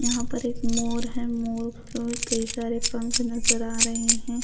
यहाँ पर एक मोर है मोर को कई सारे पंख नजर आ रहे हैं।